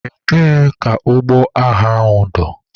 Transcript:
Ebee ka ụgbọ agha dọ?